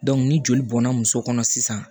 ni joli bɔnna muso kɔnɔ sisan